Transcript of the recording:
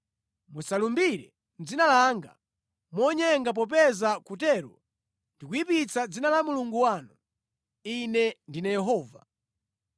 “ ‘Musalumbire mʼdzina langa monyenga popeza kutero ndi kuyipitsa dzina la Mulungu wanu. Ine ndine Yehova.